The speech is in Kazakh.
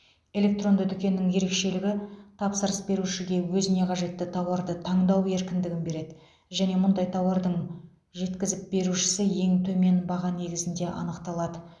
электронды дүкеннің ерекшелігі тапсырыс берушіге өзіне қажетті тауарды таңдау еркіндігін береді және мұндай тауардың жеткізіп берушісі ең төмен баға негізінде анықталады